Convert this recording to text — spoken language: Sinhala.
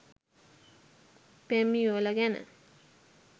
පෙම් යුවළ ගැන